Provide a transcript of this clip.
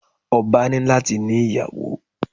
Ọba ní láti ní ìyàwó.